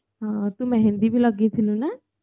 ହଁ ତୁ ମେହେନ୍ଦି ବି ଲଗେଇଥିଲୁ ନା